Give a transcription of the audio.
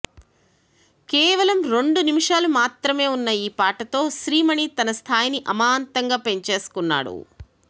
కేవలం రెండు నిమిషాలు మాత్రమే ఉన్న ఈ పాటతో శ్రీ మణి తన స్థాయిని అమాంతంగా పెంచేసుకున్నాడు